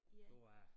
Du A